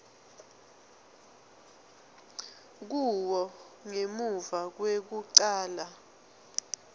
kuwo ngemuva kwekucala